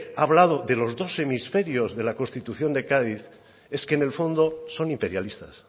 ha hablado de los dos hemisferios de la constitución de cádiz es que en el fondo son imperialistas